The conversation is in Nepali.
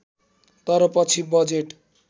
तर पछि बजेट